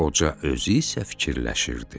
Qoca özü isə fikirləşirdi: